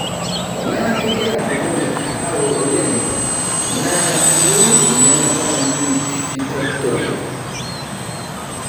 Tenaa kegira nkonyek aawo oleng',naa iyieu eyiangata naji vitrectomy.